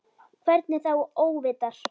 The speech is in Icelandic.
Hvernig þá óvitar?